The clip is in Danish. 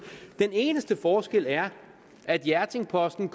den eneste forskel er at hjerting posten